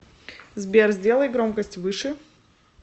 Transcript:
сбер сделай громкость выше